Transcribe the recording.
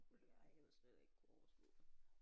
Nej jeg ville slet ikke kunne overskue det